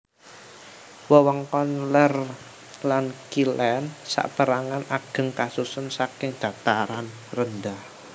Wewengkon lèr lan kilèn sapérangan ageng kasusun saking dataran rendah